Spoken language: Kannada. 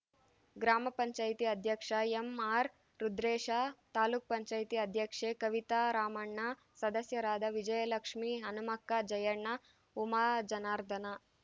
ಗ್ರಾಮ ಪಂಚಾಯತಿ ಅಧ್ಯಕ್ಷ ಎಂಆರ್‌ ರುದ್ರೇಶ ತಾಲೂಕ್ ಪಂಚಾಯತಿ ಅಧ್ಯಕ್ಷೆ ಕವಿತಾರಾಮಣ್ಣ ಸದಸ್ಯರಾದ ವಿಜಯಲಕ್ಷ್ಮೇ ಹನುಮಕ್ಕ ಜಯಣ್ಣ ಉಮಾಜನಾರ್ಧನ